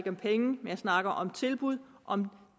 om penge jeg snakker om tilbud om